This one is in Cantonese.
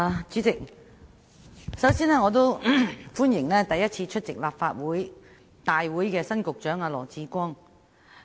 主席，我首先歡迎首次出席立法會會議的新任局長羅致光。